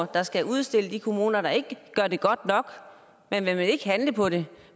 der skal udstille de kommuner der ikke gør det godt nok men man vil ikke handle på det